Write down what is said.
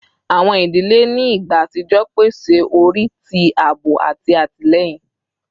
Awọn idile ni igba atijọ pese ori ti aabo ati atilẹyin